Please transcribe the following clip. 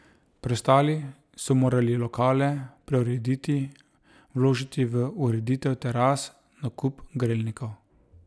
Preostali so morali lokale preurediti, vložiti v ureditev teras, nakup grelnikov ...